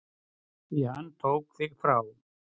Því hann tók þig frá mér.